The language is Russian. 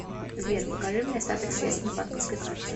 сбер покажи мне остаток средств на банковской карте